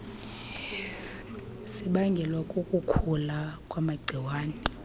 sibangelwa kukukhula kwamagciwane